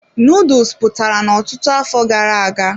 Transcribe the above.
Nuduls pụtara n'ọtụtụ afọ gara aga.